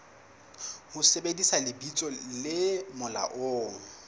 ho sebedisa lebitso le molaong